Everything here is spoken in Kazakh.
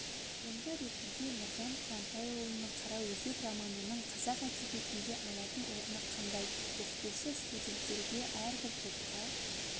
туынды ретінде нұржан қуантайұлының қараөзек романының қазақ әдебиетінде алатын орны қандай оқытушы студенттерге әрбір топқа